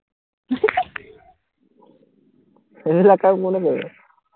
এইবিলাক কাম কোনে কৰিব